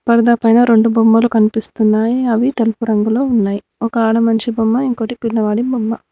పర్ద పైన రొండు బొమ్మలు కనిపిస్తున్నాయి అవి తెలుపు రంగులో ఉన్నాయ్ ఒక ఆడ మనిషి బొమ్మ ఇంకోటి పిల్లవాడు బొమ్మ.